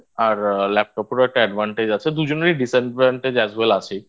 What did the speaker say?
Laptop এরও একটা Advantage আছে দুজনেরই Disadvantage As Well As আছেই